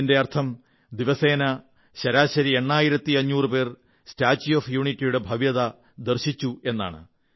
ഇതിന്റെയർഥം ദിവസേന ശരാശരി എണ്ണായിരത്തിയഞ്ഞൂറു പേർ സ്റ്റാച്യൂ ഓഫ് യൂണിറ്റിയുടെ ഭവ്യത ദർശിച്ചു എന്നാണ്